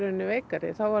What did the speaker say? veikari þá var